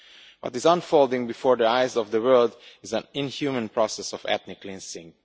What is unfolding before the eyes of the world is an inhuman process of ethnic cleansing.